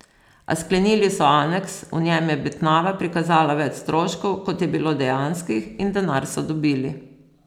A sklenili so aneks, v njem je Betnava prikazala več stroškov, kot je bilo dejanskih, in denar so dobili.